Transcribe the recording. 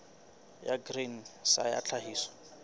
ya grain sa ya tlhahiso